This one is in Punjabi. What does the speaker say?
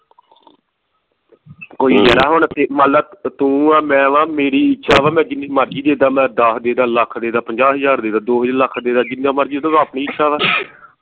ਕੋਈ ਯਾਰਾ ਹੁਣ ਜੇ ਮੰਨ ਲਾ ਤੂੰ ਆ ਮੈਂ ਵਾ ਮੇਰੀ ਇੱਛਾ ਵਾ ਮੈਂ ਜਿੰਨੀ ਮਰਜੀ ਦੇਦਾ ਮੈਂ ਦਹ ਦੇਦਾ ਲੱਖ ਦੇਦਾ ਪੰਜਾਹ ਹਜਾਰ ਦੇ ਦਾ ਦੋ ਲੱਖ ਦੇਦਾ ਜਿੰਨਾ ਮਰਜੀ ਦਵਾ ਆਪਣੀ ਇੱਛਾ ਵਾ